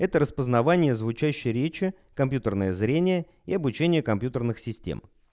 это распознавание звучащей речи компьютерное зрение и обучение компьютерных систем